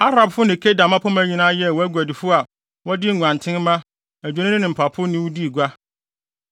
“ ‘Arabfo ne Kedar mmapɔmma nyinaa yɛɛ wʼaguadifo a wɔde nguantenmma, adwennini ne mpapo ne wo dii gua.